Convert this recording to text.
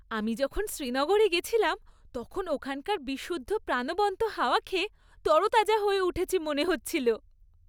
আমি যখন শ্রীনগরে গেছিলাম তখন ওখানকার বিশুদ্ধ প্রাণবন্ত হাওয়া খেয়ে তরতাজা হয়ে উঠেছি মনে হচ্ছিল।